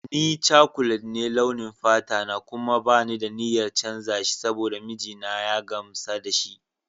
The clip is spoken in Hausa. Ni Chocolate ne a launin fata kuma ba ni da niyyar canza shi saboda mijina ya gamsa da shi.